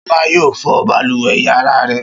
Ṣọlá yóò fọ balùwẹ̀ ìyàrá rẹ̀.